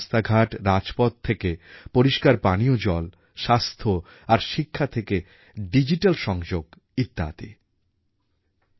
শুধু বড় শহর নয় আজ দেশের ছোট ছোট জনপদকেও সবরকমের আধুনিক সুযোগ সুবিধার আওতায় আনার চেষ্টা চলছে মসৃণ রাস্তাঘাট রাজপথ থেকে পরিষ্কার পানীয় জল স্বাস্থ্য আর শিক্ষা থেকে ডিজিটাল সংযোগ ইত্যাদি